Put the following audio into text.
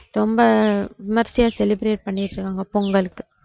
ரொம்ப விமர்சியா celebrate பண்ணிட்டிருக்காங்க பொங்கலுக்கு